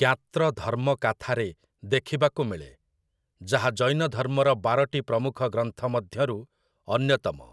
'ଜ୍ଞାତ୍ରଧର୍ମକାଥା'ରେ ଦେଖିବାକୁ ମିଳେ, ଯାହା ଜୈନଧର୍ମର ବାରଟି ପ୍ରମୁଖ ଗ୍ରନ୍ଥ ମଧ୍ୟରୁ ଅନ୍ୟତମ ।